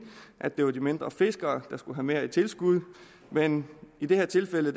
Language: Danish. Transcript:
at det var de mindre fiskere der skulle have mere i tilskud men i det her tilfælde